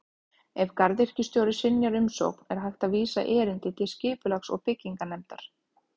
Ef garðyrkjustjóri synjar umsókn er hægt að vísa erindi til Skipulags- og bygginganefndar.